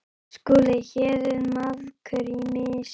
SKÚLI: Hér er maðkur í mysu.